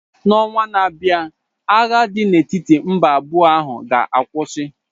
N'ọnwa na-abịa agha dị n'etiti mba abụọ ahụ ga-akwụsị.